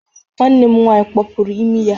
Nwanne m nwaanyị kpọpụrụ imi ya